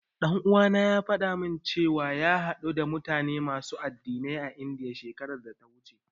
Ɗan uwana ya faɗa min cewa ya haɗu da mutane masu addinai a Indiya, shekarar data wuce.